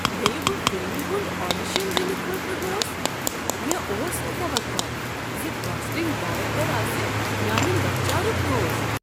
ییٚلہ بہٕ فلمہ ہنٛد آڈیشن دنہٕ خٲطرٕ گوس، مےٚ اوس نہٕ توقع ز کاسٹنگ ڈایریکٹر آسہ میانِہ لۄکچارک دوست۔